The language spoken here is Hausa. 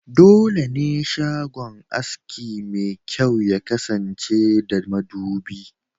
Dole ne shagon aski mai kyau ya kasance da madubi*